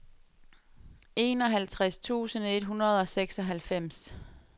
enoghalvtreds tusind et hundrede og seksoghalvfems